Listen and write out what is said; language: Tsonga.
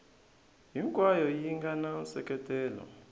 hinkwayo yi nga na nseketelo